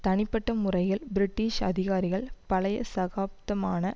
தனிப்பட்ட முறையில் பிரிட்டிஷ் அதிகாரிகள் பழைய சகாப்தமான